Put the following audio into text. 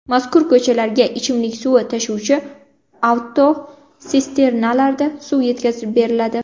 Mazkur ko‘chalarga ichimlik suvi tashuvchi avtotsisternalarda suv yetkazib beriladi.